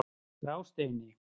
Grásteini